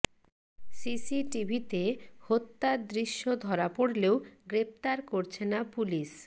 সিসিটিভিতে হত্যার দৃশ্য ধরা পড়লেও গ্রেপ্তার করছে না পুলিশ